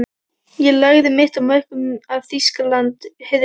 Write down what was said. Ég lagði mitt af mörkum til að Þýskaland hyrfi.